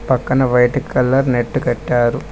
పక్కన white colour net కట్టారు.